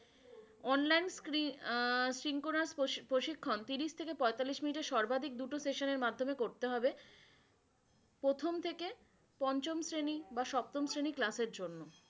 online আহ প্রশিক্ষণ ত্রিশ থেকে পঁয়তাল্লিশ মিনিটে সর্বাধিক দুটো session এর মাদ্ধমে করতে হবে। প্রথম থেকে পঞ্চম শ্রেণী বা সপ্তম শ্রেণী class এর জন্য।